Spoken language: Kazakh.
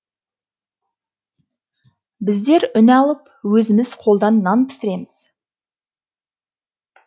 біздер үн алып өзіміз қолдан нан пісіреміз